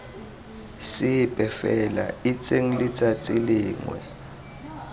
sepe fela itseng letsatsi lengwe